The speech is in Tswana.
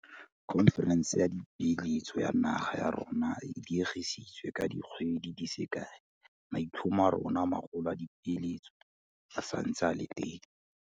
Khonferense ya Dipeeletso ya naga ya rona e diegisitswe ka di kgwedi di se kae, maitlhomo a rona a magolo a dipeeletso a santse a le teng.